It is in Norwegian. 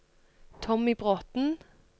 Tommy Bråthen